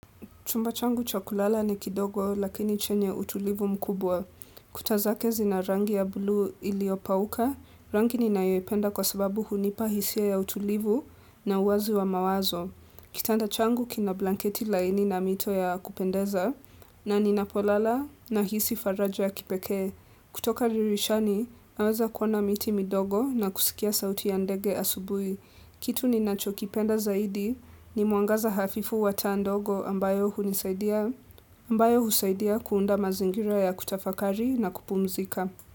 Chumba changu cha kulala ni kidogo lakini chenye utulivu mkubwa. Kuta zake zina rangi ya bluu iliopauka, rangi ninayoipenda kwa sababu hunipa hisia ya utulivu na uwazi wa mawazo. Kitanda changu kina blanketi laini na mito ya kupendeza, na ninapolala nahisi faraja ya kipekee. Kutoka dirishani, naweza kuona miti midogo na kusikia sauti ya ndege asubuhi. Kitu ninachokipenda zaidi ni mwangaza hafifu wa taa ndogo ambayo hunisaidia ambayo husaidia kuunda mazingira ya kutafakari na kupumzika.